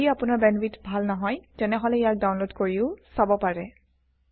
যদি আপোনাৰ বেণ্ডৱিডথ ভাল নহয় তেতিয়াহলে ইয়াক ডাউনলোড কৰিও চাব পাৰে